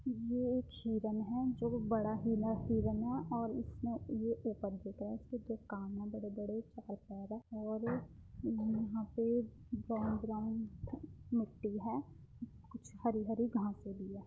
ये एक हिरन है जो बड़ा इना हिरन है और इसमें जो कान है बड़े बड़े और ये यहाँ पे ब्राउन ब्राउन मिट्टी है | कुछ हरी हरी घासें भी है ।